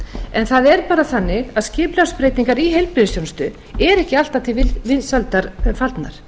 en það er bara þannig að skipulagsbreytingar í heilbrigðisþjónustu eru ekki alltaf til vinsælda fallnar